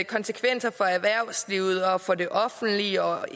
konsekvenser for erhvervslivet og for det offentlige og